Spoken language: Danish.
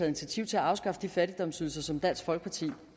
initiativ til at afskaffe de fattigdomsydelser som dansk folkeparti